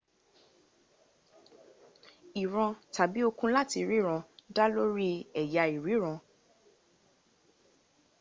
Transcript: ìran tàbí okun láti ríran dá lórí ẹ̀yà ìríran